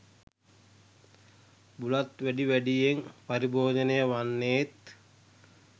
බුලත් වැඩි වැඩියෙන් පරිභෝජනය වන්නේත්